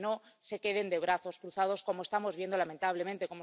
Que no se queden de brazos cruzados, como estamos viendo, lamentablemente.